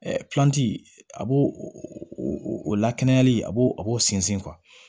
a b'o o lakanali a b'o a b'o sinsin